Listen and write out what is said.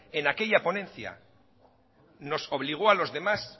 en aquella ponencia nos obligó a los demás